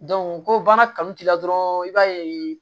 ko baara kanu t'i la dɔrɔn i b'a ye